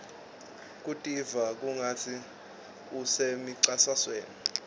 kutiva kungatsi usemcintiswaneni